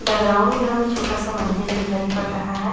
Background में हमें छोटा सा मंदिर दिखाई पड़ रहा है।